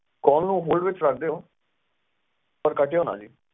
call ਨੂੰ hold ਵਿਚ ਰੱਖ ਦਿਓ ਪਰ ਕਾਟਿਓ ਨਾ ਜੀ